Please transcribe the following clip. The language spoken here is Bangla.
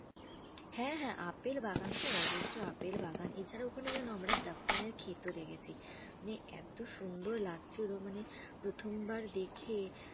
হ্যাঁ হ্যাঁ আপেল বাগান তো অজস্র আপেল বাগান। এছাড়া ওখানে জানো আমরা জাফরানের খেতও দেখেছি। মানে এত সুন্দর লাগছিলো মানে প্রথমবার দেখে।